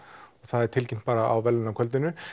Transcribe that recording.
það er tilkynnt bara á verðlaunakvöldin